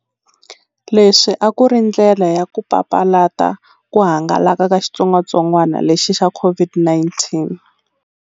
Leswi a ku ri ndlela ya ku papalata ku hangalaka ka xitsongwatsongwana lexi xa COVID-19.